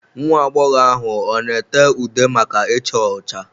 Nwa agbọghọ ahụ ọ na ete ude maka icha ọcha?